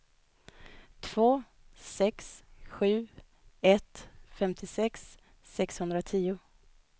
två sex sju ett femtiosex sexhundratio